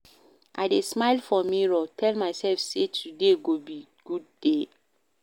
I dey smile for mirror, tell mysef say today go be good day.